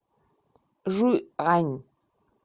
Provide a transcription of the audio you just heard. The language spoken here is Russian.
жуйань